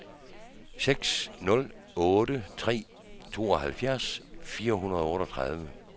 seks nul otte tre tooghalvfjerds fire hundrede og otteogtredive